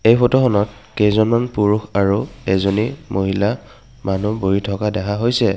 এই ফটোখনত কেইজনমান পুৰুষ আৰু এইজনী মহিলা মানুহ বহি থকা দেখা হৈছে।